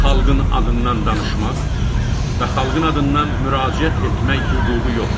xalqın adından danışmaq və xalqın adından müraciət etmək hüququ yoxdur.